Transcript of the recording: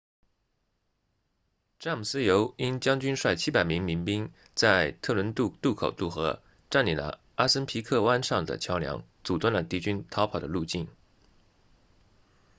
詹姆斯尤因将军率700名民兵在特伦顿渡口渡河占领了阿森皮克湾上的桥梁阻断了敌军逃跑的路径